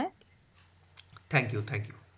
thank you thank you